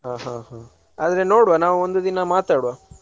ಹಾ ಹಾ ಹ್ಮ್‌ ಆದ್ರೆ ನೋಡ್ವ ಒಂದು ದಿನ ಮಾತಾಡ್ವ.